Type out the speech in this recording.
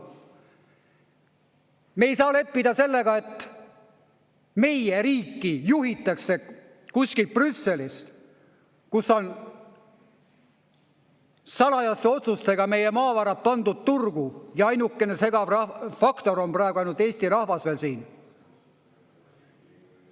Me ei saa leppida sellega, et meie riiki juhitakse kuskilt Brüsselist, kus on salajaste otsustega meie maavarad pandud turgu, ja ainuke segav faktor on praegu ainult Eesti rahvas veel siin.